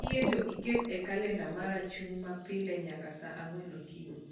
Kiyie to ikt e kalenda mara chung' ma pile nyaka saa ang'wen okinyi